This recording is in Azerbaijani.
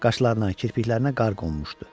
Qaşlarına, kirpiklərinə qar qonmuşdu.